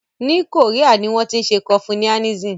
Ní Korea ni wọ́n tí ń ṣe confuianism.